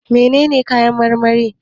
Menene kayan marmari?